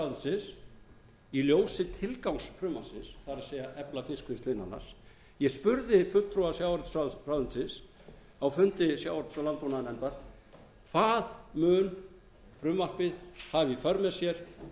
sjávarútvegsráðuneytisins í ljósi tilgangs frumvarpsins það er að efla fiskvinnslu innan lands ég spurði fulltrúa sjávarútvegsráðuneytisins á fundi sjávarútvegs og landbúnaðarnefndar hvað mun frumvarpið hafa í för með sér